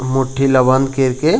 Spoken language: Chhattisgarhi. मुट्ठी ल बंद कर के --